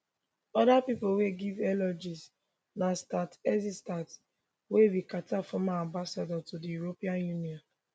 oda pipo wey give eulogies na stuart eizenstat wey be carter former ambassador to di european union